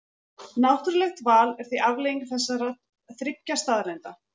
Náttúrlegt val er því afleiðing þessara þriggja staðreynda.